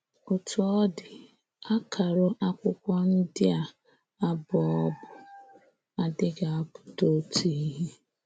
Ọ́tú ọ dị, àkàrụ̀ Àkwụ́kwọ̀ ndị a ábụ̀ọ̀bụ̀ adịghị apụta otu ihe.